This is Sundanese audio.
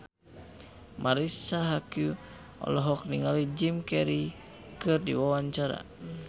Marisa Haque olohok ningali Jim Carey keur diwawancara